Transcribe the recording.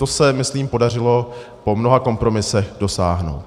Toho se, myslím, podařilo po mnoha kompromisech dosáhnout.